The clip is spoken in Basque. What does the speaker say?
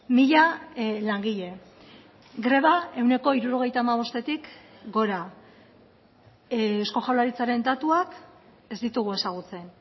mila langile greba ehuneko hirurogeita hamabostetik gora eusko jaurlaritzaren datuak ez ditugu ezagutzen